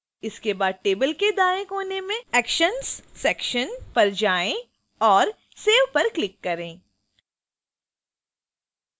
इसके बाद table के दाएं कोने में actions section पर जाएं और save पर click करें